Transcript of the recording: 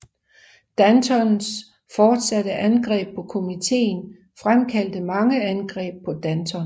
Dantons fortsatte angreb på komitéen fremkaldte mange angreb på Danton